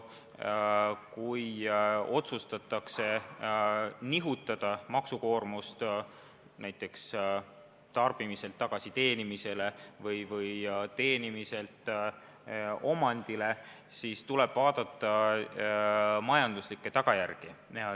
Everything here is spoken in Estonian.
Kui otsustatakse nihutada maksukoormust näiteks tarbimiselt tagasi teenimisele või teenimiselt omandile, siis tuleb vaadata majanduslikke tagajärgi.